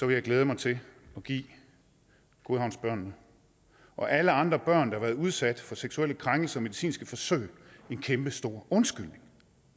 jeg glæde mig til at give godhavnsbørnene og alle andre børn der har været udsat for seksuelle krænkelser og medicinske forsøg en kæmpestor undskyldning